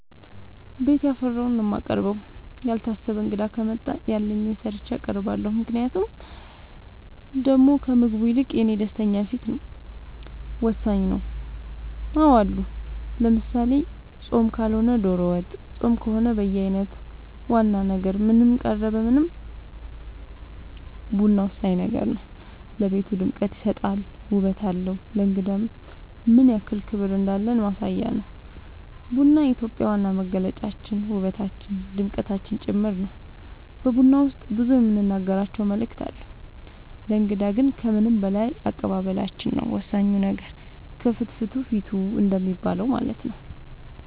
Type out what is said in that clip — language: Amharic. ቤት ያፈራውን ነው የማቀርበው ያልታሰበ እንግዳ ከመጣ ያለኝን ሰርቼ አቀርባለሁ ምክንያቱም ደሞ ከምግቡ ይልቅ የኔ ደስተኛ ፊት ወሳኝ ነው አዎ አሉ ለምሳሌ ፆም ካልሆነ ዶሮ ወጥ ፆም ከሆነ በየአይነት ዋና ነገር ምንም ቀረበ ምንም ቡና ወሳኝ ነገር ነው ለቤቱ ድምቀት ይሰጣል ውበት አለው ለእንግዳም ምንያክል ክብር እንዳለን ማሳያ ነው ቡና የኢትዮጵያ ዋና መገለጫችን ውበታችን ድምቀታችን ጭምር ነው በቡና ውስጥ ብዙ የምንናገራቸው መልዕክት አለው ለእንግዳ ግን ከምንም በላይ አቀባበላችን ነው ወሳኙ ነገር ከፍትፍቱ ፊቱ እንደሚባለው ማለት ነው